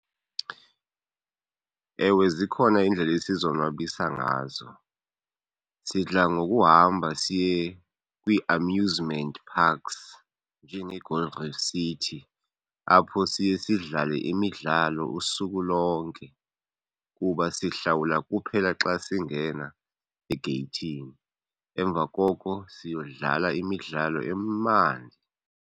Ewe zikhona iindlela esizonwabisa ngazo. Sidla ngokuhamba siye kwii-amusement parks njengeGold Reef City apho siye sidlale imidlalo usuku lonke kuba sihlawula kuphela xa singena egeyithini, emva koko siyodlala imidlalo emandi.